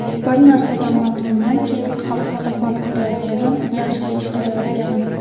Bir narsadan mamnunmanki, xalqqa xizmat qilayotganim, yaxshilik qilayotganim.